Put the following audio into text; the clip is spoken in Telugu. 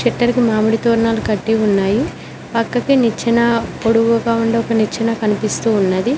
పిట్టరుకి మామిడి తోరణాలు కట్టి ఉన్నాయి పక్కకి నిచ్చెన పొడువుగా ఉండే ఒక నిచ్చెన కనిపిస్తూ ఉన్నది.